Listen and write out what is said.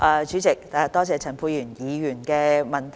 主席，多謝陳沛然議員的補充質詢。